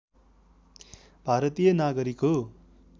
भारतीय नागरिक हो